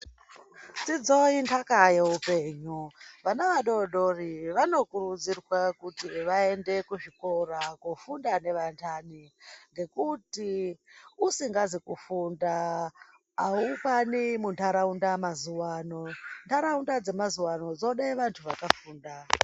Dzidzo inhaka yeupenyu vana vadodori vanokurudzirwa kuti vaende kuzvikora kofunda nevandani. Ngekuti usingazi kufunda haukwani muntaraunda mazuva ano, ntaraunda dzemazuva ano dzode vantu vakafunda.